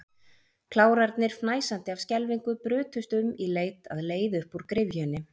Klárarnir, fnæsandi af skelfingu, brutust um í leit að leið upp úr gryfjunni.